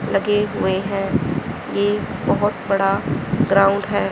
लगे हुए हैं ये बहोत बड़ा ग्राउंड हैं।